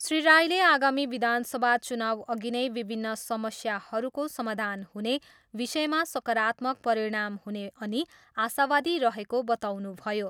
श्री राईले आगामी विधानसभा चुनाउअघि नै विभिन्न समस्याहरूको समाधान हुने विषयमा सकारात्मक परिणाम हुने अनि आशावादी रहेको बताउनुभयो।